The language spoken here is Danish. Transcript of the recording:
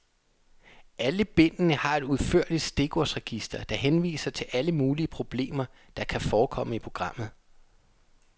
Alle bindene har et udførligt stikordsregister, der henviser til alle mulige problemer, der kan forekomme i programmet.